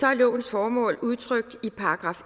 er lovens formål udtrykt i §